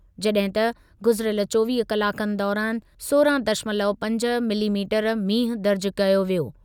जॾहिं त गुज़िरियल चोवीह कलाकनि दौरानि सोरहं दशमलव पंज मिलीमीटरु मींहुं दर्ज़ कयो वियो।